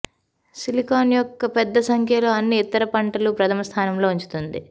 silicon యొక్క పెద్ద సంఖ్యలో అన్ని ఇతర పంటలు ప్రధమ స్థానంలో ఉంచుతుంది